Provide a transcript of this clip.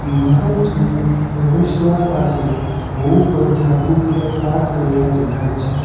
ઇમારતની પ્રવેશ દ્વાર પાસે બૌ બધા ટુવ્હીલર પાર્ક કરેલા દેખાય છે.